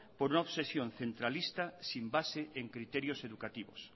por una obsesión centralista sin base en criterios educativos